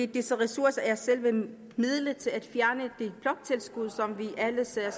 disse ressourcer er selve midlet til at fjerne det bloktilskud som vi alle ser